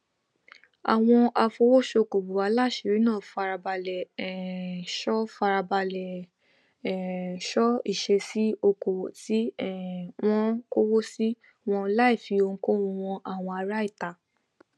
àwọn afowósókowò aláṣìírí náà farabalẹ um ṣọ farabalẹ um ṣọ ìṣesí okowo ti um wọn kowo si wọn láìfi ohunkóhun han àwọn ará ìta